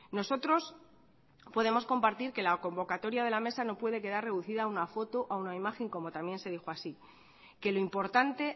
nosotros podemos compartir que la convocatoria de la mesa no puede quedar reducida a una foto a una imagen como también se dijo así que lo importante